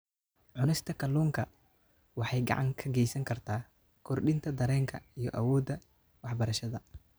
Cunista kalluunka waxay gacan ka geysan kartaa kordhinta dareenka iyo awoodda waxbarashada.